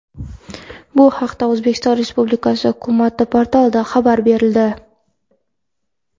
Bu haqda O‘zbekiston Respublikasi hukumat portalida xabar berildi .